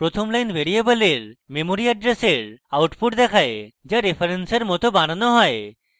প্রথম line ভ্যারিয়েবলের memory অ্যাড্রেসের output দেখায় the রেফারেন্সের মত বানানো হয়